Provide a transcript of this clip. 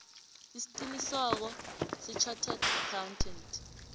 isiqinisekiso sechartered accountant